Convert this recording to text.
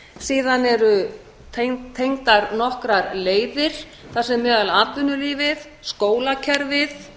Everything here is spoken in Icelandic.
síðan eru tengdar nokkrar leiðir þar sem atvinnulífið skólakerfið